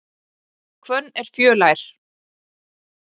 Hvönn er fjölær.